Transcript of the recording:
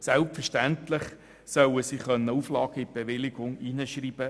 Selbstverständlich sollen Auflagen in die Bewilligungen aufgenommen werden können.